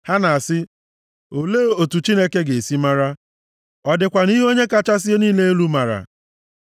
Ha na-asị, “Olee otu Chineke ga-esi mara? Ọ dịkwanụ ihe Onye kachasị ihe niile elu maara?”